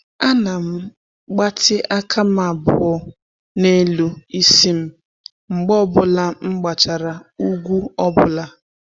A na m gbatị aka m abụọ n'elu isi m mgbe ọ bụla m gbachara ugwu ọbụla.